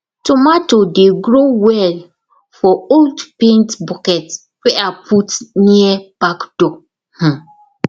tomato dey grow well for old paint bucket wey i put near back door um